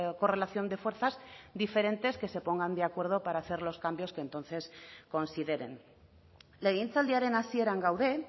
correlación de fuerzas diferentes que se pongan de acuerdo para hacer los cambios que entonces consideren legegintzaldiaren hasieran gaude